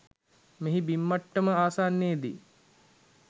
මෙහි බිම් මට්ටම ආසන්නයේ දී